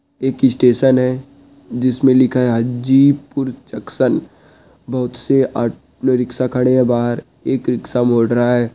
एक स्टेशन है जिस मे लिखा है हाजीपुर जंक्शन बहोत से ऑटोरिक्शा खड़े हैं बाहर एक रिकशा मुड़ रहा है। >